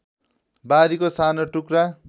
बारीको सानो टुक्रा